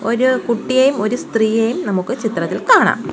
ഒരു കുട്ടിയെയും ഒരു സ്ത്രീയെയും നമുക്ക് ഈ ചിത്രത്തിൽ കാണാം.